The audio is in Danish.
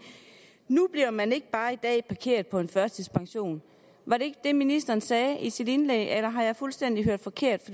nu bliver man ikke bare i dag parkeret på en førtidspension var det ikke det ministeren sagde i sit indlæg eller har jeg hørt fuldstændig forkert